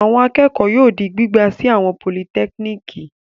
Àwọn akẹ́kọ̀ọ́ yóò di gbígbà sí àwọn politẹ́kíníkì.